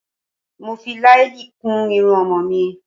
Mo fi làálì kun irun ọmọ mi